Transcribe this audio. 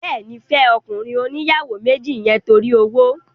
Bẹ́ẹ̀ni, fẹ́ ọkùnrin oníyàwó méjì yẹn torí owó